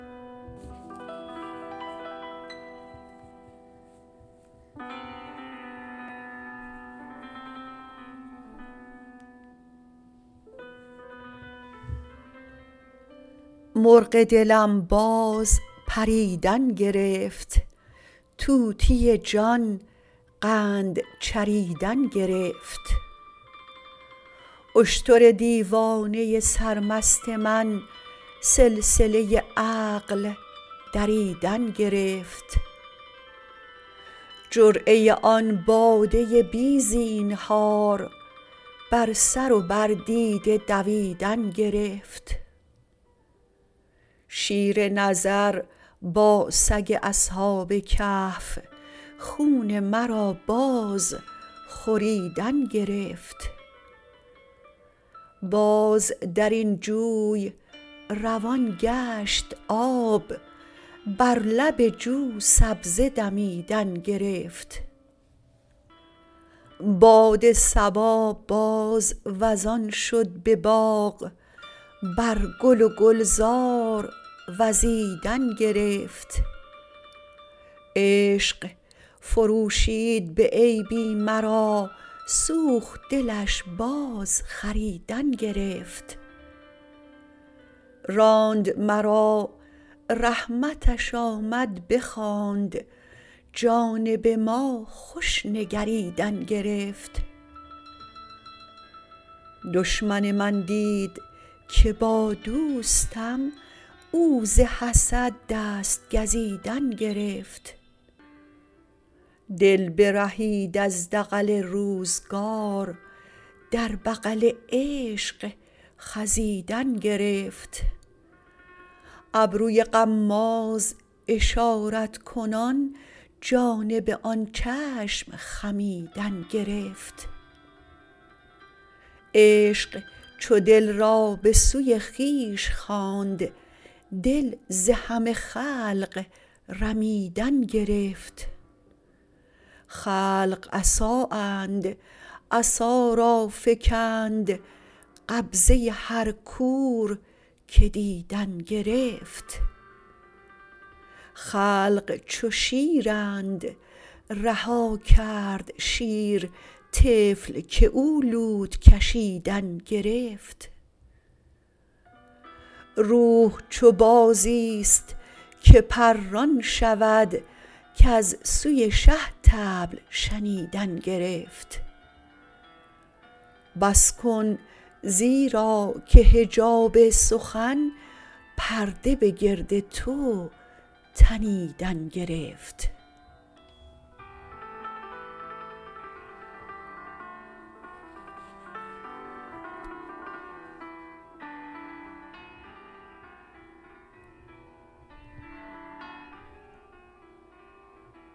مرغ دلم باز پریدن گرفت طوطی جان قند چریدن گرفت اشتر دیوانه سرمست من سلسله عقل دریدن گرفت جرعه آن باده بی زینهار بر سر و بر دیده دویدن گرفت شیر نظر با سگ اصحاب کهف خون مرا باز خوریدن گرفت باز در این جوی روان گشت آب بر لب جو سبزه دمیدن گرفت باد صبا باز وزان شد به باغ بر گل و گلزار وزیدن گرفت عشق فروشید به عیبی مرا سوخت دلش بازخریدن گرفت راند مرا رحمتش آمد بخواند جانب ما خوش نگریدن گرفت دشمن من دید که با دوستم او ز حسد دست گزیدن گرفت دل برهید از دغل روزگار در بغل عشق خزیدن گرفت ابروی غماز اشارت کنان جانب آن چشم خمیدن گرفت عشق چو دل را به سوی خویش خواند دل ز همه خلق رمیدن گرفت خلق عصااند عصا را فکند قبضه هر کور که دیدن گرفت خلق چو شیرند رها کرد شیر طفل که او لوت کشیدن گرفت روح چو بازیست که پران شود کز سوی شه طبل شنیدن گرفت بس کن زیرا که حجاب سخن پرده به گرد تو تنیدن گرفت